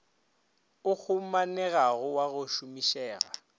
o humanegago wa go šomišega